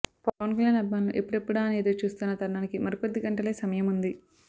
పవన్కల్యాణ్ అభిమానులు ఎప్పుడెప్పుడా అని ఎదురుచూస్తున్న తరుణానికి మరికొద్ది గంటలే సమయముంది